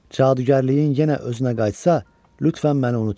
Cadugərliyin yenə özünə qayıtsa, lütfən məni unutma.